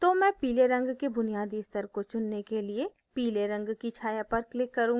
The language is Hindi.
तो मैं पीले रंग के बुनियादी स्तर को चुनने के लिए पीले रंग की छाया पर click करूँगी